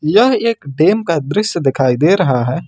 यह एक डैम का दृश्य दिखाई दे रहा है।